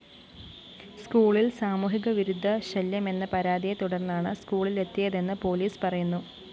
സ്‌കൂളില്‍ സാമൂഹികവിരുദ്ധശല്യമെന്ന പരാതിയെ തുടര്‍ന്നാണ് സ്‌കൂളിലെത്തിയതെന്ന് പോലീസ് പറയുന്നു